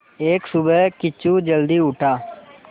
एक सुबह किच्चू जल्दी उठा